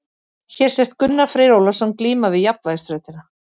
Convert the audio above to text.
Hér sést Gunnar Freyr Ólafsson glíma við jafnvægisþrautina.